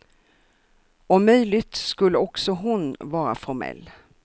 Om möjligt skulle också hon vara formell.